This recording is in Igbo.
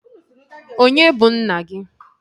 Onye bụ nna gi?